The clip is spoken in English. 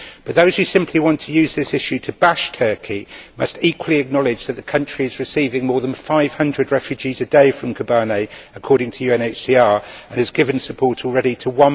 But those who simply want to use this issue to bash Turkey must equally acknowledge that the country is receiving more than 500 refugees a day from Kobane, according to UNHCR, and has given support already to